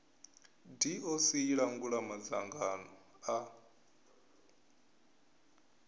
doc i langula madzangano a